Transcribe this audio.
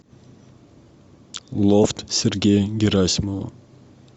лофт сергея герасимова